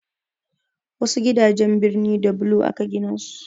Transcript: Wasu gidajen birni da bulo aka gina su.